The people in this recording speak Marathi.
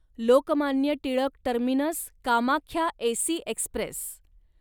Lokmanya Tilak terminus Kamakhya AC Express